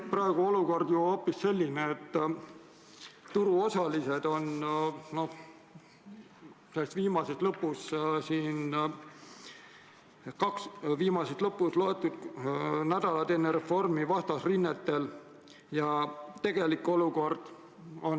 Praegu on olukord ju hoopis selline, et turuosalised on viimases lõpus mõned nädalad enne reformi vastasrinnetel.